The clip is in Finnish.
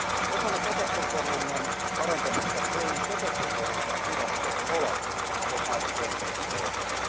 Osana petostentorjunnan parantamista EUn petostentorjuntavirasto OLAF on aivan keskeisessä roolissa.